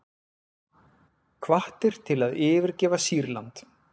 Hvattir til að yfirgefa Sýrland